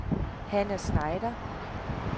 Hanna Schneider